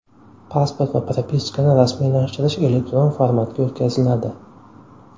Pasport va propiskani rasmiylashtirish elektron formatga o‘tkaziladi.